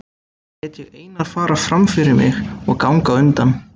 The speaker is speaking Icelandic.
Lét ég Einar fara fram fyrir mig og ganga á undan.